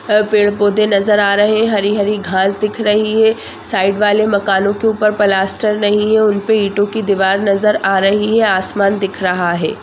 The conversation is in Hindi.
पेड़-पौधे नज़र आ रहे हैं हरी-हरी घास दिख रही है साइड वाले मकानों के ऊपर प्लास्टर नहीं है उनपे ईंटों की दीवार नज़र आ रही है आसमान दिख रहा है।